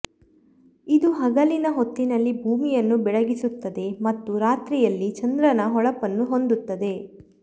ಇದು ಹಗಲಿನ ಹೊತ್ತಿನಲ್ಲಿ ಭೂಮಿಯನ್ನು ಬೆಳಗಿಸುತ್ತದೆ ಮತ್ತು ರಾತ್ರಿಯಲ್ಲಿ ಚಂದ್ರನ ಹೊಳಪನ್ನು ಹೊಂದುತ್ತದೆ